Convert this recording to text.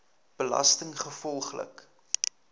belastinggevolglik